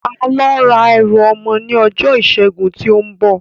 Á lọ ra ẹrù ọmọ ní ọjọ́ ìsẹ́gun tí ó ń bọ̀